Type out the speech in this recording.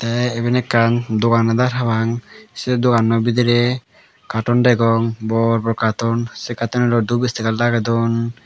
te eben ekkan dogan adar papang se doganno bidire katon degong bor bor katon se katonunot dup istiger lagey don.